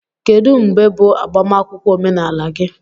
Kedu mgbe bụ agbamakwụkwọ omenala gị?